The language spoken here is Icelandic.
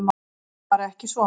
Það er bara ekki svo.